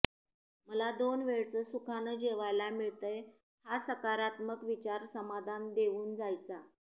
मला दोन वेळचं सुखानं जेवायला मिळतंय हा सकारात्मक विचार समाधान देऊन जायचा